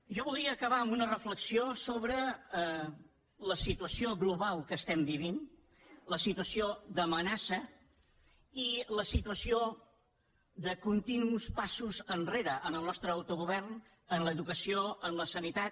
jo voldria acabar amb una reflexió sobre la situació global que estem vivint la situació d’amenaça i la situació de continus passos enrere en el nostre autogovern en l’educació en la sanitat